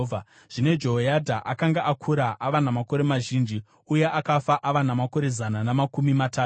Zvino Jehoyadha akanga akura ava namakore mazhinji, uye akafa ava namakore zana namakumi matatu.